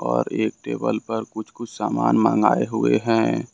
और एक टेबल पर कुछ कुछ सामान मांगाये हुए हैं।